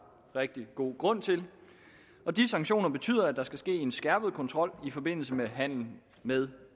rigtig god grund til og de sanktioner betyder at der skal ske en skærpet kontrol i forbindelse med handel med